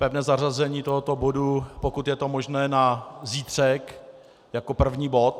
Pevné zařazení tohoto bodu, pokud je to možné, na zítřek jako první bod.